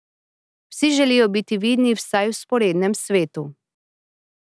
Vsi želijo biti vidni vsaj v vzporednem svetu.